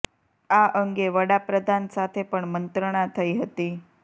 આ અંગે વડા પ્રધાન સાથે પણ મંત્રણા થઈ હતી